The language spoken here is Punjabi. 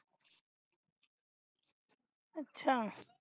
ਅਛਾ